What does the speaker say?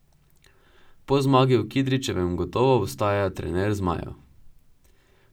Po zmagi v Kidričevem gotovo ostaja trener zmajev.